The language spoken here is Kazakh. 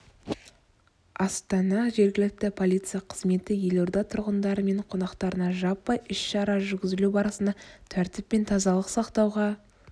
астана жергілікті полиция қызметі елорда тұрғындары мен қонақтарына жаппай іс-шара жүргізілу барысында тәртіп пен тазалық сақтауға